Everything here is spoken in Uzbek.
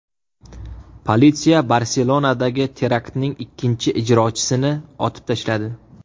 Politsiya Barselonadagi teraktning ikkinchi ijrochisini otib tashladi.